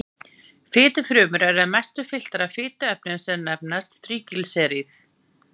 Fitufrumur eru að mestu fylltar af fituefnum sem nefnast þríglýseríð.